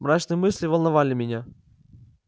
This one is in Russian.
мрачные мысли волновали меня